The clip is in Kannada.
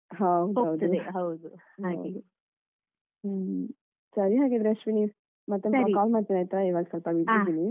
ಹ ಹೌದು ಹಾಗೆ ಹ್ಮ್ ಸರಿ ಹಾಗಾದ್ರೆ ಅಶ್ವಿನಿ ಮತ್ತೆ call ಮಾಡ್ತೀನಿ ಆಯ್ತಾ ಇವಾಗ ಸ್ವಲ್ಪ busy ಇದ್ದೇನೆ.